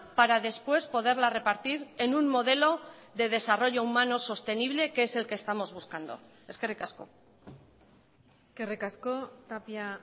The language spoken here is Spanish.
para después poderla repartir en un modelo de desarrollo humano sostenible que es el que estamos buscando eskerrik asko eskerrik asko tapia